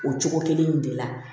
O cogo kelen in de la